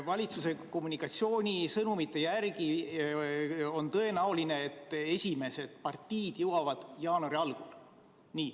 Valitsuse kommunikatsioonisõnumite järgi on tõenäoline, et esimesed partiid jõuavad kohale jaanuari algul.